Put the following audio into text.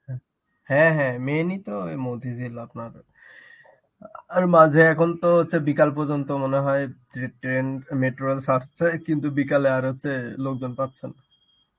হ্যাঁ main ই তো ওই মতিঝিল আপনার আর মাঝে এখন তো হচ্ছে বিকাল পর্যন্ত মনে হয় tra~ train metro rails আসছে. কিন্তু বিকালে আর হচ্ছে লোকজন পাচ্ছেনা.